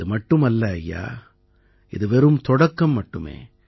இது மட்டும் அல்ல ஐயா இது வெறும் தொடக்கம் மட்டுமே